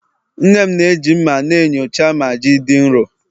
nne m na-eji mma na-enyocha ma ji dị nro